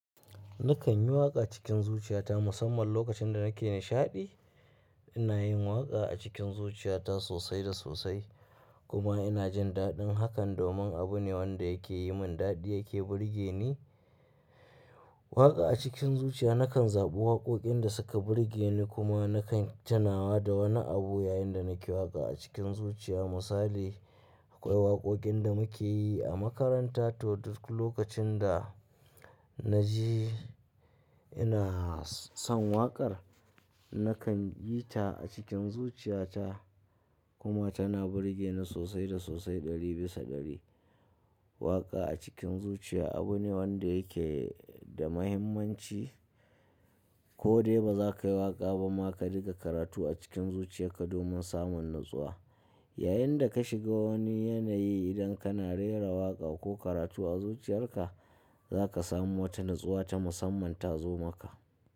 Nakan yi waƙa cikin zuciyata musamman lokacin da nake nishaɗi. Ina yin waƙa a cikin zuciyata sosai da sosai kuma ina jin daɗin hakan domin abu ne wanda yake yi min daɗi yake burge ni. Waƙa a cikin zuciya nakan zaɓi waƙoƙin da suka burge ni kuma nakan tunawa da wani abu yayin da nake waƙa a cikin zuciya. Misali, akwai waƙoƙin da muke yi a makaranta. To duk lokacin da na ji ina son waƙar, nakan yi ta a cikin zuciyata kuma tana burge ni sosai da sosai ɗari bisa ɗari. Waƙa a cikin zuciya abu ne wanda yake da muhimmanci. Ko dai ba za kai waƙa ba ma ka riƙa karatu a cikin zuciyar ka domin samun natsuwa. Yayin da ka shiga wani yanayi idan kana rera waƙa ko karatu a zuciyarka, za ka samu wata natsuwa ta musamman ta zo maka.